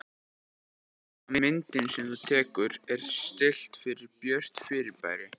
Þetta þýðir að myndin sem þú tekur er stillt fyrir björt fyrirbæri.